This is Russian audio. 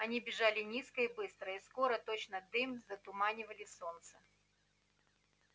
они бежали низко и быстро и скоро точно дым затуманивали солнце